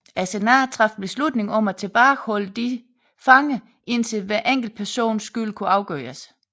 Senatet traf beslutning om at tilbageholde disse fanger indtil hver enkelt persons skyld kunne afgøres